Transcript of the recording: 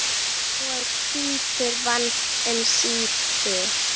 og hvítur vann um síðir.